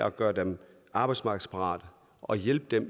at gøre dem arbejdsmarkedsparate og hjælpe dem